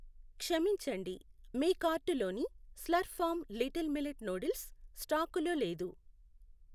క్షమించండి, మీ కార్టులోని Slurrp Farm little millet noodles స్టాకులో లేదు.